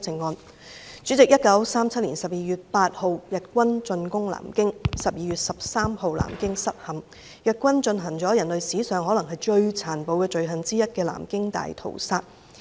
代理主席，日軍在1937年12月8日進攻南京 ，12 月13日南京失陷，日軍進行了可能是人類史上最殘暴的罪行之一"南京大屠殺"。